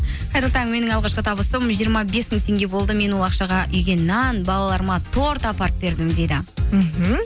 қайырлы таң менің алғашқы табысым жиырма бес мың теңге болды мен ол ақшаға үйге нан балаларыма торт апарып бердім дейді мхм